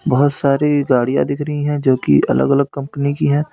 बहुत सारी गाड़ियां दिख रही है जो की अलग अलग कंपनी की है।